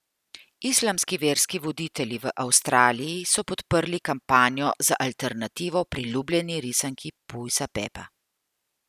Islamski verski voditelji v Avstraliji so podprli kampanjo za alternativo priljubljeni risanki Pujsa Pepa.